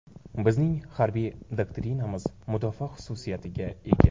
Bizning harbiy doktrinamiz mudofaa xususiyatiga ega.